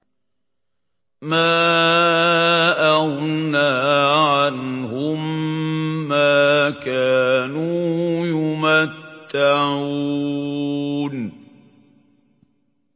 مَا أَغْنَىٰ عَنْهُم مَّا كَانُوا يُمَتَّعُونَ